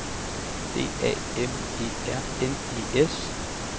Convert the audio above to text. D A M E R N E S